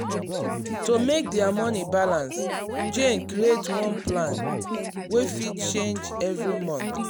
to make their money balance jane create one plan wey fit change every month.